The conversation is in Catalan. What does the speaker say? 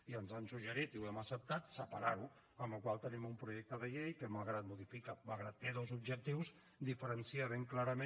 i ens han suggerit i ho hem acceptat separar ho amb la qual cosa tenim un projecte de llei que malgrat que té dos objectius diferencia ben clarament